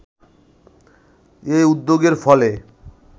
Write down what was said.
এ উদ্যোগের ফলে